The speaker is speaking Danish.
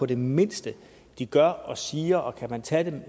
det mindste de gør og siger og kan man tage dem